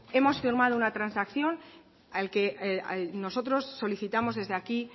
hemos firmado una transacción al que nosotros solicitamos desde aquí